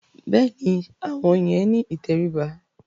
Bẹ́ẹ̀ni, àwọn yẹn ni ìtẹríba.